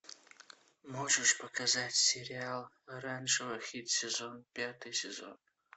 можешь показать сериал оранжевый хит сезона пятый сезон